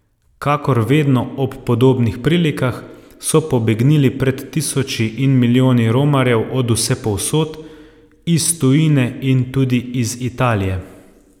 Kakor vedno ob podobnih prilikah, so pobegnili pred tisoči in milijoni romarjev od vsepovsod, iz tujine in tudi iz Italije.